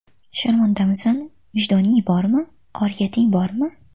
Sharmandamisan, vijdoning bormi, oriyating bormi?